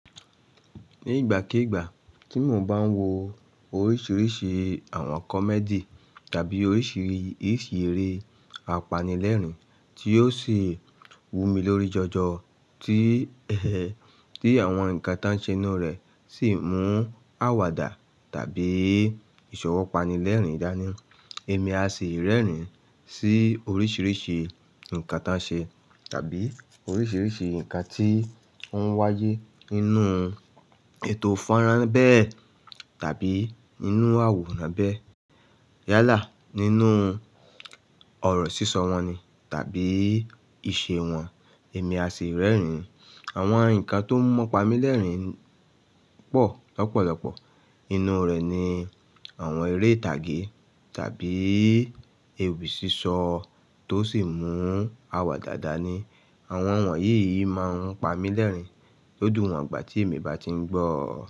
Ní ìgbàkígbà tí mo bá ń wo oríṣiríṣi àwọn comedy tàbí oríṣiríṣi eré apanilẹ́rìn tí yóò sì wú mi lórí jọjọ, tí, tí àwọn nǹkan tó ń ṣe nú rẹ̀ sì mú àwàdà tàbí ìsọ̀wọ́ pani lẹ́rìn dání, èmi a sì rẹ́rìn sí oríṣiríṣi nǹkan tó ń ṣe tàbí oríṣiríṣi nǹkan tí ó ń wáyé nínú ètò fọ́nrán bẹ́ẹ̀ tàbí nínú àwòrán bẹ́ẹ̀. Yálà nínú oro sí só wón ní tàbí isé wón, èmi à sì rerin. Àwọn nǹkan tó mò pa mí lẹ́rìn pọ̀ lọ́pọ̀lọpọ̀. Inú rẹ̀ ni àwọn eré ìtàgé tàbí ewì sísọ tó sì mú àwàdà dàni. Àwọn wọ̀nyí yìí má ń pa mí lẹ́rìn ló dùn wọn gbà tí èmi bá ti ń gbọ́ ọ.